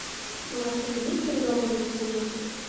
в отеле есть переговорная комната